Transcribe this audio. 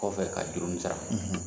Kɔfɛ ka juru sara.